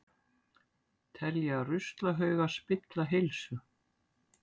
Telja ruslahauga spilla heilsu